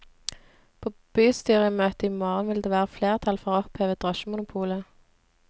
På bystyremøtet i morgen vil det være flertall for å oppheve drosjemonopolet.